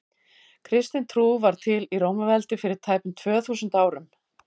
kristin trú varð til í rómaveldi fyrir tæpum tvö þúsund árum